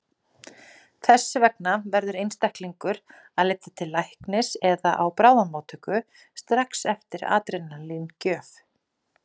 Þess vegna verður einstaklingur að leita til læknis eða á bráðamóttöku strax eftir adrenalín-gjöf.